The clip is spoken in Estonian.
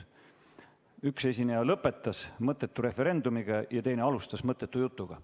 Üks esineja lõpetas "mõttetu referendumiga" ja teine alustas "mõttetu jutuga".